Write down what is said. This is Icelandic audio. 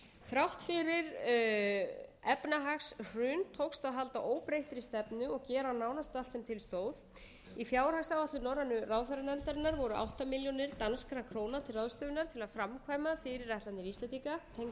þrátt fyrir efnahagshrun tókst að halda óbreyttri stefnu og gera nánast allt sem til stóð í fjárhagsáætlun norrænu ráðherranefndarinnar voru átta milljónir danskra króna til ráðstöfunar til að framkvæma fyrirætlanir íslendinga tengdar